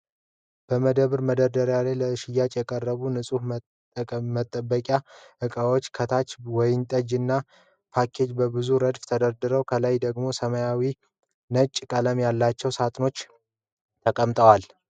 በመደብር መደርደሪያ ላይ ለሽያጭ የቀረቡ የንፅህና መጠበቂያ ዕቃዎች። ከታች ወይንጠጃዊ ፓኬጆች በብዙ ረድፍ ተደርድረዋል። ከላይ ደግሞ ሰማያዊና ነጭ ቀለም ያላቸው ሳጥኖች ተቀምጠዋል።